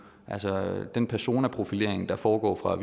altså den personprofilering der foregår fra